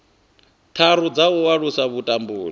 tharu dza u alusa vhutumbuli